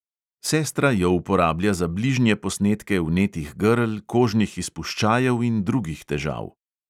Sestra jo uporablja za bližnje posnetke vnetih grl, kožnih izpuščajev in drugih težav.